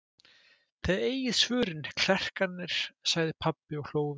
Þið eigið svörin, klerkarnir, sagði pabbi og hló við.